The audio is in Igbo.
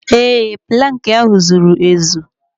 Ee, plankị ahụ zuru ezu.